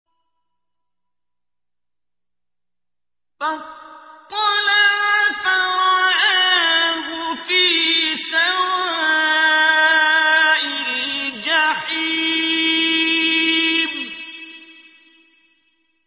فَاطَّلَعَ فَرَآهُ فِي سَوَاءِ الْجَحِيمِ